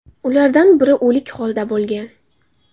Ulardan biri o‘lik holda bo‘lgan.